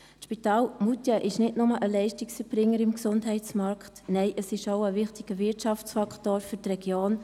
Das Spital in Moutier ist nicht nur Leistungserbringerin im Gesundheitsmarkt, nein, es ist auch ein wichtiger Wirtschaftsfaktor für die Region.